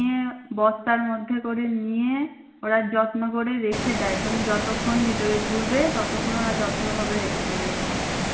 নিয়ে বস্তার মধ্যে করে নিয়ে ওরা যত্ন করে রেখে দেয় তুমি যতক্ষন ভিতরে ঘুরবে ততক্ষন ওরা যত্নভাবে রেখে দেবে ওটা।